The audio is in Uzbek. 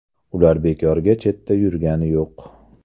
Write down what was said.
Ular bekorga chetda yurgani yo‘q.